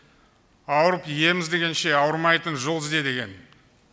ауырып ем іздегенше ауырмайтын жол ізде деген